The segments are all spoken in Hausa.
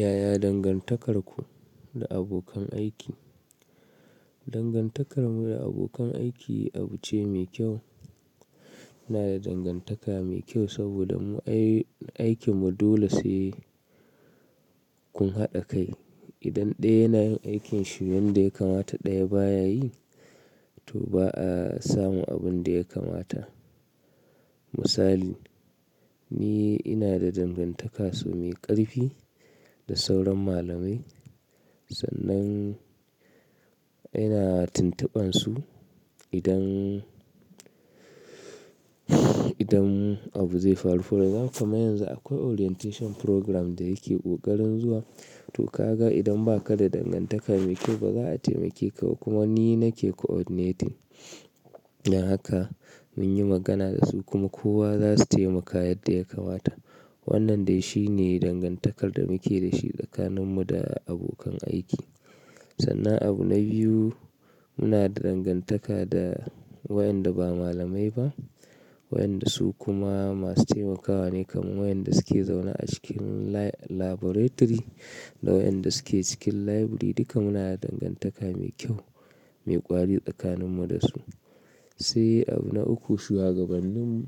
Yaya dangantakarku da abokan aiki? Dangantakarmu da abokan aiki abu ce mai kyau. Ina da dangantaka mai kyau saboda mu aikinmu dole sai kun haɗa kai. Idan ɗaya yana yin aikinsa, wanda ya kamata ɗaya ba ya yi, to ba a samu abin da ya kamata. Misali, ni ina da dangantaka so mai ƙarfi da sauran malamai, sannan ina tuntuba su idan, idan abu zai faru. Fara zan kama yanzu akwai orientation program da yake kokarin zuwa. To ka ga idan ba ka da dangantaka mai kyau ba za a taimake ka kuma ni nake coordinating. Don haka mun yi magana da su kuma kowa za su taimaka yadda ya kamata. Wannan dai shine dangantakar da muke da shi tsakaninmu da abokan aiki. Sannan abu na biyu, muna da dangantaka da waɗanda ba malamai ba, waɗanda su kuma masu taimakawa ne kamar waɗanda suke zaune a cikin laboratory da waɗanda suke cikin library. Duka muna da dangantaka mai kyau, mai ƙwari tsakaninmu da su. Sai abu na uku, shugabannin mu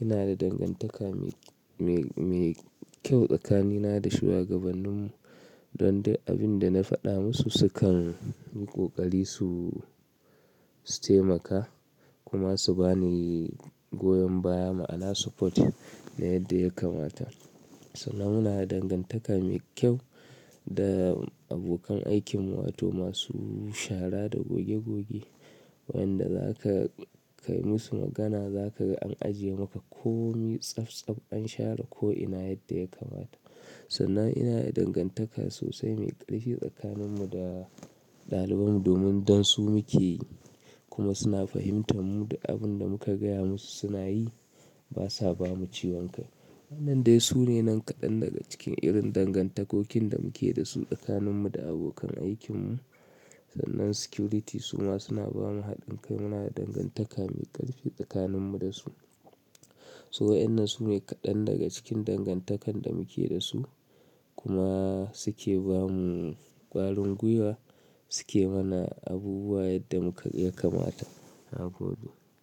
ina da dangantaka mai, mai, mai kyau tsakanina da shugabannin mu don dai abin da na faɗa musu sukan yi ƙoƙari su taimaka kuma su bani goyon baya, moral support na yadda ya kamata. Sannan muna da dangantaka mai kyau da abokan aikin mu wato masu shara da goge goge, waɗanda za ka kai musu magana za ka an ajiye maka ko saf saf an share ko ina yadda ya kamata. Sannan ina da dangantaka sosai mai ƙarfi tsakaninmu da ɗaliban mu domin dan su muke yi kuma suna fahimtar mu da abin da muka gaya musu suna yi, ba sa bamu ciwon kai. Wannan dai sune nan kaɗan daga cikin irin dangantakokin da muke da su tsakaninmu da abokan aikin mu. Sannan security suma suna ba mu haɗin kai. Muna da dangantaka mai ƙarfi tsakaninmu da su. So waɗannan sune kaɗan daga cikin dangantakan da muke da su kuma suke ba mu ƙwarin guiwa, suke mana abubuwa yadda muka ya kamata. Na gobe.